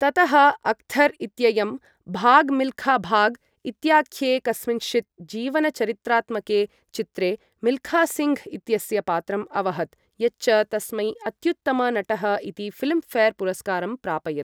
ततः अख्तर् इत्ययं 'भाग् मिल्खा भाग्' इत्याख्ये कस्मिँश्चित् जीवनचरित्रात्मके चित्रे मिल्खासिङ्घ् इत्यस्य पात्रम् अवहत्, यच्च तस्मै अत्युत्तम नटः इति ऴिल्म् ऴेर् पुरस्कारं प्रापयत्।